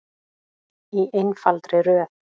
Í einfaldri röð.